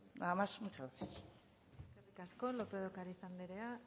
nada más muchas gracias eskerrik asko lópez de ocariz anderea